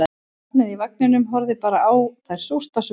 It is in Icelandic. Barnið í vagninum horfði bara á þær súrt á svip